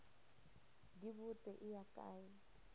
di botse e ya kae